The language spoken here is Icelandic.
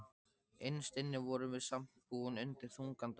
Innst inni vorum við samt búin undir þungan dóm.